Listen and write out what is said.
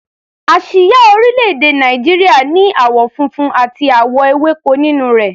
Àsíá orílẹ̀-èdè Nàìjíríà ní àwọ̀ funfun àti àwọ̀ ewéko nínú rẹ̀.